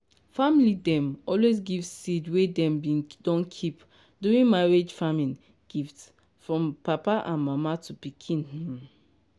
family dem always give seed wey dem bin don keep during marriage farming gift from papa and mama to pikin. um